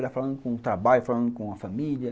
Era falando com o trabalho, falando com a família.